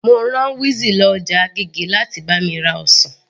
Mo rá wizzy lọ ọjà agége láti bá mi ra ọsàn